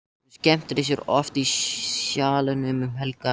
Hún skemmtir sér oft í Sjallanum um helgar.